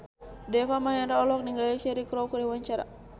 Deva Mahendra olohok ningali Cheryl Crow keur diwawancara